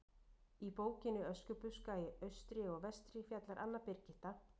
Í bókinni Öskubuska í austri og vestri fjallar Anna Birgitta